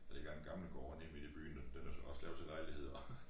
Der ligger en gammel gård nede midt i byen den den er så også lavet til lejligheder